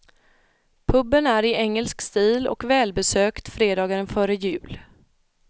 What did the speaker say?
Puben är i engelsk stil och välbesökt fredagen före jul.